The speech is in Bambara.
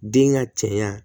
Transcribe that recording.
Den ka cɛɲa